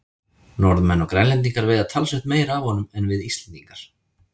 Norðmenn og Grænlendingar veiða talsvert meira af honum en við Íslendingar.